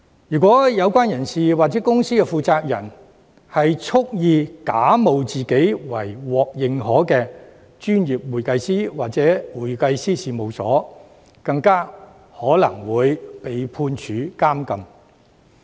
如果有關人士或公司的負責人蓄意假冒自己為獲認可的專業會計師或會計師事務所，更有可能會被判處監禁。